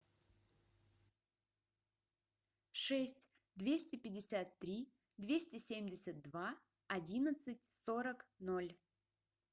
шесть двести пятьдесят три двести семьдесят два одиннадцать сорок ноль